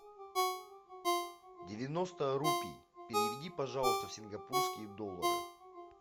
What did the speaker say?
девяносто рупий переведи пожалуйста в сингапурские доллары